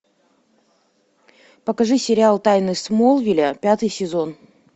покажи сериал тайны смолвиля пятый сезон